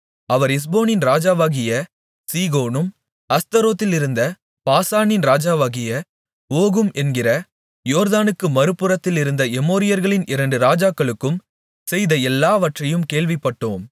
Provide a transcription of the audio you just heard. அவர் எஸ்போனின் ராஜாவாகிய சீகோனும் அஸ்தரோத்திலிருந்த பாசானின் ராஜாவாகிய ஓகும் என்கிற யோர்தானுக்கு மறுபுறத்திலிருந்த எமோரியர்களின் இரண்டு ராஜாக்களுக்கும் செய்த எல்லாவற்றையும் கேள்விப்பட்டோம்